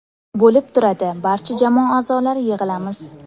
Bo‘lib turadi, barcha jamoa a’zolari yig‘ilamiz.